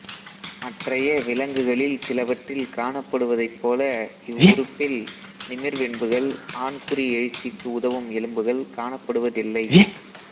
மற்றைய விலங்குகளில் சிலவற்றில் காணப்படுவதைப்போல இவ்வுறுப்பில் நிமிர்வென்புகள் ஆண்குறி எழுச்சிக்கு உதவும் எலும்புகள் காணப்படுவதில்லை